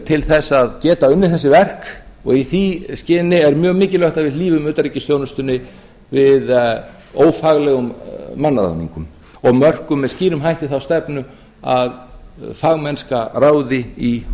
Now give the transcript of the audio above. til þess að geta unnið þessi verk og í því skyni er mjög mikilvægt að við hlífum utanríkisþjónustunni við ófaglegum mannaráðningum og mörkum með skýrum hætti þá stefnu að fagmennska ráði í